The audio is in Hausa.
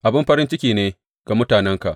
Abin farin ciki ne ga mutanenka!